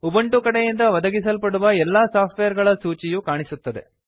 Ubuntu ಕಡೆಯಿಂದ ಒದಗಿಸಲ್ಪಡುವ ಎಲ್ಲಾ ಸಾಫ್ಟ್ವೇರ್ ಗಳ ಸೂಚಿಯು ಕಾಣಿಸುತ್ತದೆ